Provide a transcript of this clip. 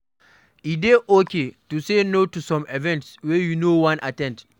E dey okay to say no to some events wey you no wan at ten d